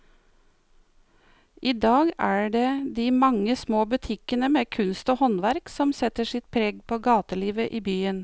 I dag er det de mange små butikkene med kunst og håndverk som setter sitt preg på gatelivet i byen.